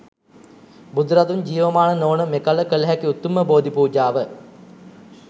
බුදුරදුන් ජීවමාන නොවන මෙකල කළ හැකි උතුම්ම බෝධි පූජාව